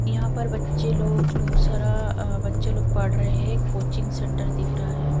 यहां पर बच्चे लोग बहोत सारा अह बच्चे लोग पढ़ रहे हैं कोचिंग सेंटर दिख रहा है।